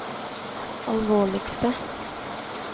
alvorligste